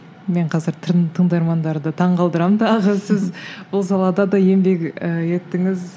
мен қазір тыңдармандарды таңғалдырамын тағы сіз бұл салада да еңбек ы еттіңіз